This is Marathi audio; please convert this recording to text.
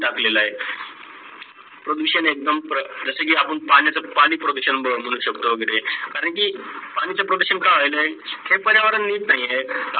टाकलेलं आहे. प्रदूषण एक्दम वाढलेलं जस कि आपण पाण्याच पाणी प्रदूषा बोलू शकतो वगैरे करण की पाणीचे प्रदूषण का होईल आहे? ते पर्यावरण नित नाही आहे.